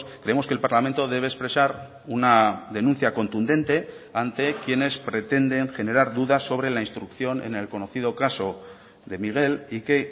creemos que el parlamento debe expresar una denuncia contundente ante quienes pretenden generar dudas sobre la instrucción en el conocido caso de miguel y que